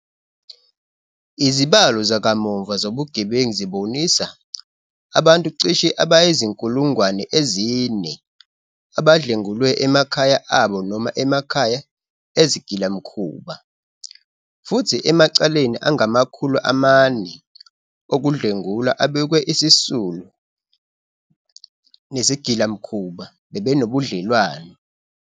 Izibalo zakamuva zobugebengu zibonisa abantu cishe abayizi-4 000 abadlwengulwe emakhaya abo noma emakhaya ezigilamkhuba, futhi emacaleni angama-400 okudlwengula abikiwe isisulu nesigilamkhuba bebenobudlelwano.